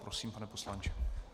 Prosím, pane poslanče.